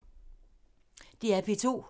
DR P2